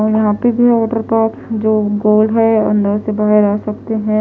और यहाँ पर वाटर पार्क जो गोल है अंदर से बाहर आ सकते है।